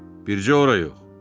Bircə ora yox.